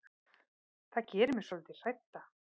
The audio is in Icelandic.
Það gerir mig svolítið hrædda.